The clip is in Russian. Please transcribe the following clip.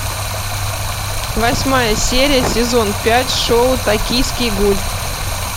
восьмая серия сезон пять шоу токийский гуль